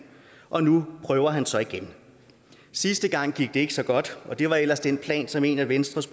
og nu prøver han så igen sidste gang gik det ikke så godt og det var ellers den plan som en af venstres